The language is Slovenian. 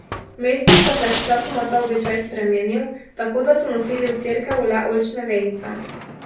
V mestih pa se je sčasoma ta običaj spremenil, tako da so nosili v cerkev le oljčne vejice.